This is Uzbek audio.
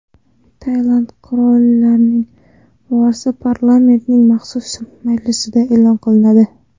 Tailand qirolining vorisi parlamentning maxsus majlisida e’lon qilinadi.